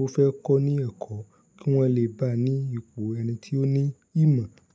ó fẹ́ kọ́ ní ẹ̀kọ́ kí wọ́n le bá a ní ipò ẹni tí ó ní ìmọ̀.